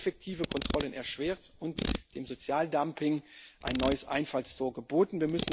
Sie hätte effektive Kontrollen erschwert und dem Sozialdumping ein neues Einfallstor geboten.